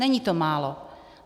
Není to málo.